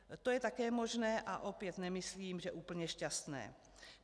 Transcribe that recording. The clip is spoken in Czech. To je také možné a opět nemyslím, že úplně šťastné.